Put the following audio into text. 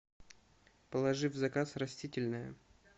положи в заказ растительное